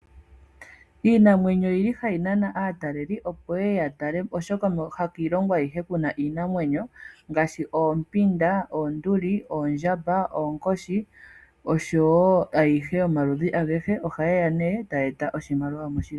Iinamwenyo oyili hayi nana aatalelipo, opo yeye yatale, oshoka hakiilongo ayihe kuna iinamwenyo, ngaashi oompinda, oonduli, oondjamba, oonkoshi, noshowo yomaludhi agahe. Ohaye ya ne, etaya eta oshimaliwa moshilongo.